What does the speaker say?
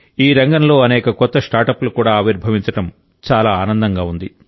ఈ రంగంలో అనేక కొత్త స్టార్టప్లు కూడా ఆవిర్భవించడం చాలా ఆనందంగా ఉంది